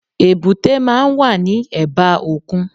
Èbúté máa n wà ní ẹ̀bá òkun